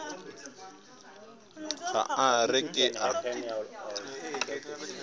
ge a re ke a